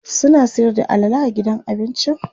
suna Sayar da alala a gidan abincin?